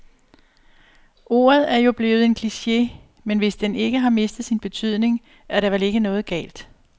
Ordet er jo blevet en kliche, men hvis den ikke har mistet sin betydning, er der vel ikke noget galt.